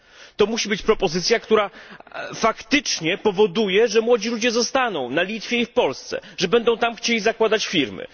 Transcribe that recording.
To musi być propozycja, która faktycznie powoduje, że młodzi ludzie zostaną na Litwie i w Polsce, że będą tam chcieli zakładać firmy.